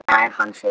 Nær hann sér?